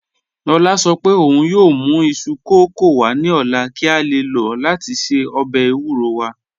Lọla sọ̀ pẹ̀ ọ̀un yoo mù isu kọkọ wa ni ọla ki a le lọ lati ṣe ọbẹ̀ ewúrò wa